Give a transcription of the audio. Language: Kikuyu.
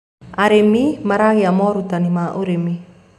arĩmi maragia morutanĩ ma ũrĩmi